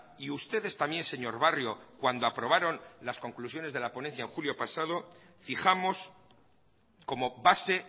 y ustedes también señor barrio cuando aprobaron las conclusiones de la ponencia en julio pasado fijamos como base